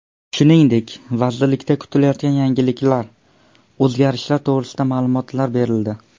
Shuningdek, vazirlikda kutilayotgan yangiliklar, o‘zgarishlar to‘g‘risida ma’lumotlar berildi.